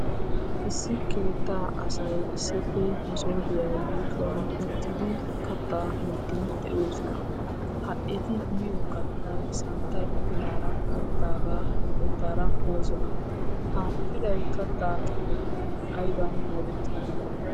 Issi keettaa asay issippe masooppiya yuushuwan uttidi kattaa miidi de'oosona. Ha eti miyo kattay santtay pilaara gayttaagaa oytaara moosona. Ha pilay kattaa kifiletuppe aybban moodeti?